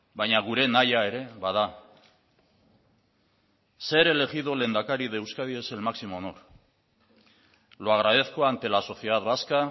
baina gure nahia ere bada ser elegido lehendakari de euskadi es el máximo honor lo agradezco ante la sociedad vasca